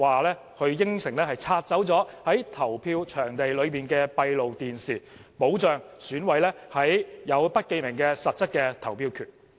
局長甚至承諾會拆除在投票場地的閉路電視，保障選委有實質的不記名投票權。